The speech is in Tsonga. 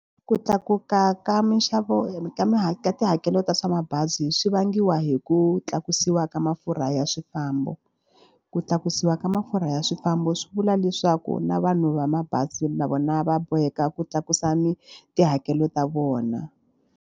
Ku tlakuka ka minxavo ka ka tihakelo ta swa mabazi swi vangiwa hi ku tlakusiwa ka mafurha ya swifambo. Ku tlakusiwa ka mafurha ya swifambo swi vula leswaku na vanhu va mabazi na vona va boheka ku tlakusa tihakelo ta vona.